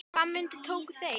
Hvaða myndir tóku þeir?